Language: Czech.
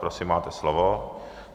Prosím, máte slovo.